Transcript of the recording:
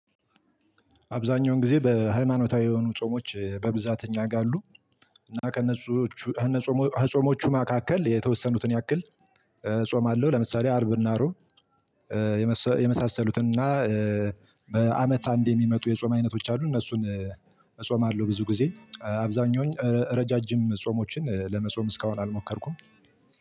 አብዛኛውን ጊዜ በሃይማኖታዊ የሆኑ ጾሞች በብዛት እኛ ጋር አሉ። እና ከነጾሞቹ ጾሞቹ መካከል የተወሰኑትን ያክል እጾማለሁ ለምሳሌ አርብና ሪዖብ። የመሳሰሉትን እና። በአመት አንድ የሚመጡ የጾም አይነቶች አሉ እነሱን እጾማለሁ። ብዙ ጊዜ አብዛኛውን ረዣዥም ጾሞችን ለመጾም እስካሁን አልሞከርኩም።